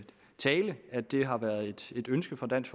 at det har været et ønske fra dansk